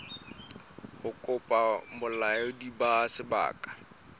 ho kopa bolaodi ba sebaka